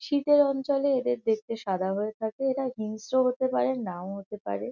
শীতের অঞ্চলে এদের দেখতে সাদা হয়ে থাকে। এরা হিংস্র হতে পারে নাও হতে পারে।